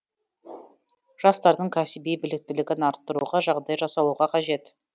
жастардың кәсіби біліктілігін арттыруға жағдай жасалуға қажет